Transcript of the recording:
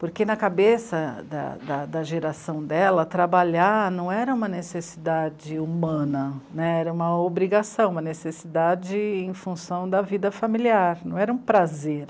Porque na cabeça da, da, da geração dela, trabalhar não era uma necessidade humana né, era uma obrigação, uma necessidade em função da vida familiar, não era um prazer.